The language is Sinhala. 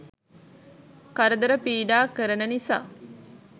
කරදර පීඩා කරන නිසා